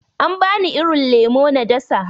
An bani irin lemo na dasa.